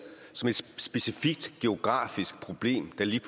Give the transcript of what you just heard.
som et specifikt geografisk problem der lige